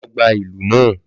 Lọ gba ìlù náà